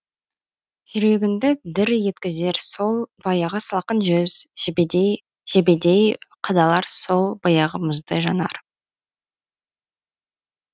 жүрегіңді дір еткізер сол баяғы салқын жүз жебедей қадалар сол баяғы мұздай жанар